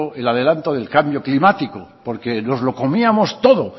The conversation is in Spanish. en el adelanto del cambio climático porque nos lo comíamos todo